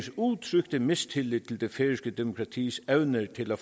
udtrykte mistillid til det færøske demokratis evne til at